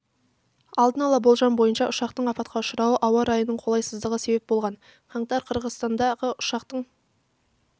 алдын ала болжам бойынша ұшақтың апатқа ұшырауына ауа райының қолайсыздығы себеп болған қаңтар қырғыстандағы ұшақтың